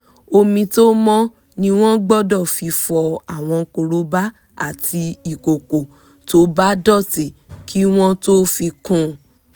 omi tó mọ́ ni wọ́n gbọ́dọ̀ fi fọ àwọn korobá àti ìkòkò tó bá dọ̀tí kí wọ́n tó fi kúnun